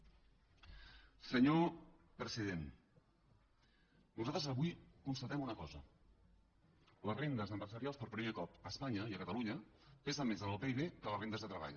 senyor president nosaltres avui constatem una cosa les rendes empresarials per primer cop a espanya i a catalunya pesen més en el pib que les rendes de treball